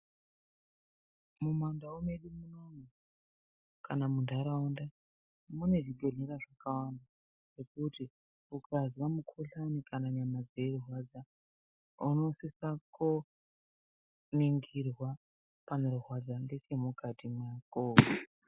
Mundau dzedu kana muntharaunda mwedu mune zvibhedhlera zvakawanda, zvekuti ukanzwa mukuhlani kana nyama dzeirwadza unosisa koo ningirwa panorwadza ngeche mukati mwako.